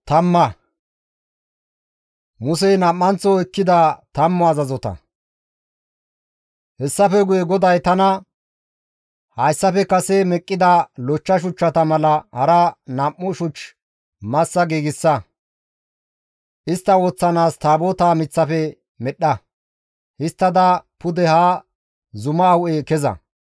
Hessafe guye GODAY tana, «Hayssafe kase meqqida lochcha shuchchata mala hara nam7u shuch massa giigsa; istta woththanaas Taabotaa miththafe medhdha; histtada pude ha zuma hu7e keza.